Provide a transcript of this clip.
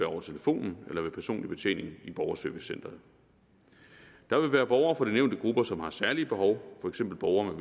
over telefonen eller ved personlig betjening i borgerservicecentret der vil være borgere fra de nævnte grupper som har særlige behov for eksempel borgere